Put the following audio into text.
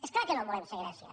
és clar que no volem ser grècia